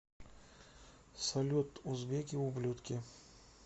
салют узбеки ублюдки